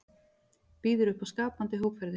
Býður upp á skapandi hópferðir